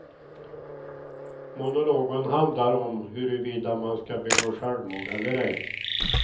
Monologen handlar om huruvida man ska begå självmord eller ej.